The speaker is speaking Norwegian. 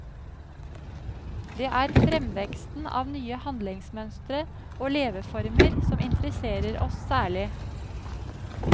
Det er fremveksten av nye handlingsmønstre og leveformer som interesserer oss særlig.